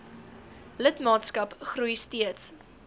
lidmaatskap groei steeds